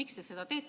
Miks te seda teete?